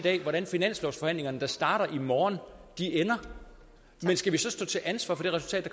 hvordan finanslovsforhandlingerne der starter i morgen ender men skal vi så stå til ansvar for det resultat